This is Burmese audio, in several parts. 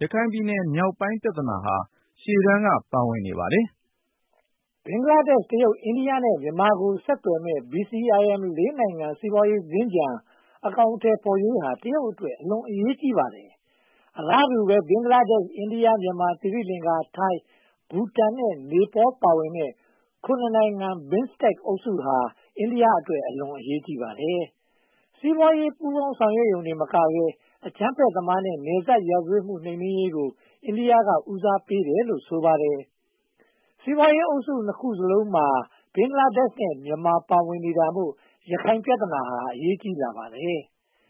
ရခိုင်ပြည်နယ်မြောက်ပိုင်း ပြဿနာဟာ ရှေ့တန်းပါဝင်နေပါတယ်။ ဘင်္ဂလားဒေ့ရှ်၊ တရုတ်၊ အိန္ဒိယ နဲ့ မြန်မာကို ဆက်သွယ်မယ့် BCIM (၄) နိုင်ငံ စီးပွားရေးစင်္ကြန် အကောင်အထည်ဖော်ရေးဟာ တရုတ်အတွက် အလွန်အရေးကြီးပါတယ်။ အလားတူပဲ ဘင်္ဂလားဒေ့ရှ် အိန္ဒိယ၊ မြန်မာ၊ သီရိလင်္ကာ၊ ထိုင်း၊ ဘူတန်နဲ့ နေပေါလ် ပါဝင်တဲ့ (၇) နိုင်ငံ BIMSTEC အုပ်စုဟာ အိန္ဒိယအတွက် အလွန်အရေးကြီးပါတယ်။ စီးပွားရေး ပူးပေါင်းဆောင်ရွက်ရုံတင်မက အကြမ်းဖက်သမားနဲ့ နယ်စပ်ရာဇဝတ်မှု နှိမ်နင်းရေးကို အိန္ဒိယက ဦးစားပေးတယ်လို့ ဆိုပါတယ်။ စီးပွားရေးအုပ်စု နှစ်ခုစလုံးမှာ ဘင်္ဂလားဒေ့ရှ်နဲ့ မြန်မာပါဝင်နေတာမို့ ရခိုင်ပြဿနာ အရေးပါလာပါတယ်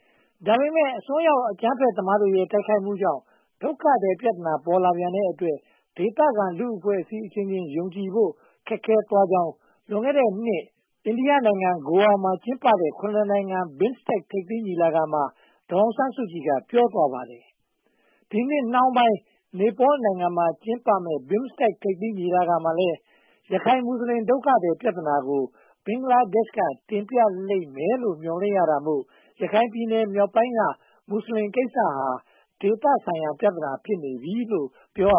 ။ ဒါပေမဲ့ အစွန်းရောက် အကြမ်းဖက်သမားတွေရဲ့ တိုက်ခိုက်မှုကြောင့် ဒုက္ခသည် ပြဿနာ ပေါ်လာပြန်တဲ့အတွက် ဒေသခံလူ့အဖွဲ့အစည်းအချင်းချင်းကြား ယုံကြည်ဖို့ ခက်ခဲသွားကြောင်း လွန်ခဲ့တဲ့နှစ် အိန္ဒိယနိုင်ငံမှာ ဂိုအာ မှာ ကျင်းပခဲ့တဲ့ (၇) နိုင်ငံ BIMSTEC ထိပ်သီးညီလာခံမှာ ဒေါ်အောင်ဆန်းစုကြည်က ပြောသွားပါတယ်။ ဒီနှစ်နောက်ပိုင်း နေပေါလ်နိုင်ငံမှာ ကျင်းပမယ့် BIMSTEC ထိပ်သီးညီလာခံမှာလည်း ရခိုင်မွတ်စလင် ဒုက္ခသည်ပြဿနာကို ဘင်္ဂလားဒေ့ရှ်က တင်ပြလိမ့်မယ်လို့ မျှော်လင့်ရတာမို့ ရခိုင်ပြည်နယ်မြောက်ပိုင်းက မွတ်စလင်ကိစ္စဟာ ဒေသဆိုင်ရာ ပြဿနာဖြစ်နေပြီလို့ ပြောရပ